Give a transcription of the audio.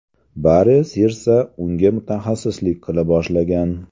Bari Sirsa unga mutaxassislik qila boshlagan.